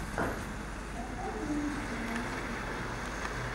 поставь ремиксы на ютюбе